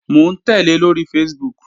Mò ń tẹ́lẹ̀ lóri Facebook